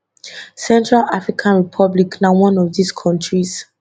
central african republic na one of those kontris